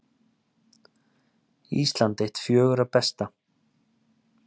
Ísland eitt fjögurra bestu